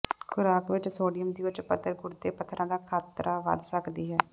ਖੁਰਾਕ ਵਿੱਚ ਸੋਡੀਅਮ ਦੀ ਉੱਚ ਪੱਧਰ ਗੁਰਦੇ ਪੱਥਰਾਂ ਦਾ ਖਤਰਾ ਵਧ ਸਕਦੀ ਹੈ